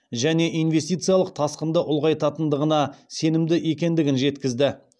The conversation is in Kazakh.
және инвестициялық тасқынды ұлғайтатындығына сенімді екендігін жеткізді